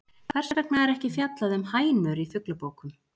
Hvers vegna er ekki fjallað um hænur í fuglabókum?